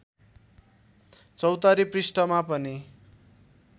चौतारी पृष्ठमा पनि